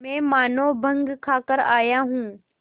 मैं मानों भंग खाकर आया हूँ